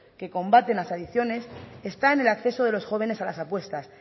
que combaten las adicciones está en el acceso de los jóvenes a las apuestas